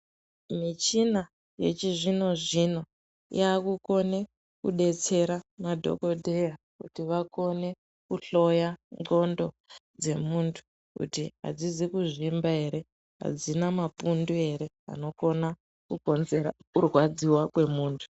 Michina yechizvino zvino yakukone kudetsera madhokodheya kuti vakone kuhloya ndxondo dzemuntu kuti adzizi kuzvimba ere, adzina mapundu ere anokona kukonzera kurwadziwa kwemuntu.